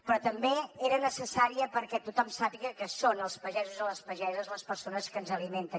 però també era necessària perquè tothom sàpiga que són els pagesos i les pageses les persones que ens alimenten